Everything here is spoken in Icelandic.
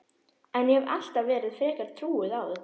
En ég hef alltaf verið frekar trúuð á þetta.